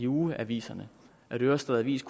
ugeaviser at ørestad avis